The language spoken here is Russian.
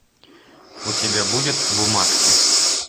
у тебя будет бумажки